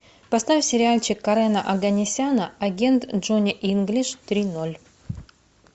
поставь сериальчик карена оганесяна агент джонни инглиш три ноль